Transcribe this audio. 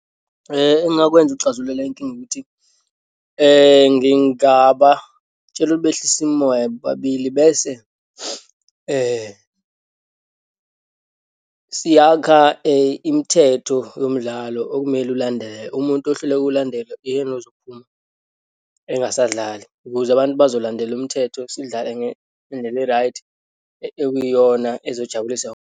Engingakwenza ukuxazulula inkinga ukuthi ngingabatshela ukuthi behlise imimoya bobabili, bese siyakha imithetho yomdlalo okumele ulandelwe. Umuntu ohluleka, ukuwulandela uyena ozophuma, engasadlali ukuze abantu bazolandela umthetho, sidlale ngendlela e-right okuyiyona ezojabulisa.